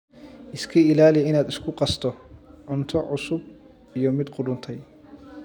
Iska ilaali inaad isku qasto cunto cusub iyo mid qudhuntay.